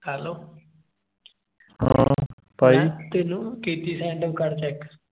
hello ਤੈਨੂੰ ਕੀਤੀ send ਕਰ check